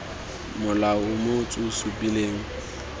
mola o motsu o supileng